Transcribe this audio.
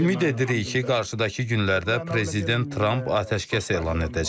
Ümid edirik ki, qarşıdakı günlərdə prezident Tramp atəşkəs elan edəcək.